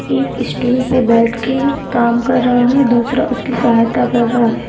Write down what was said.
एक स्टूल पे बैठके काम कर रहा है दूसरा उसकी सहायता कर रहा है।